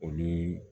Olu